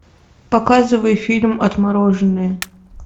показывай фильм отмороженные